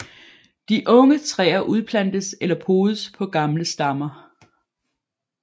De unge træer udplantes eller podes på gamle stammer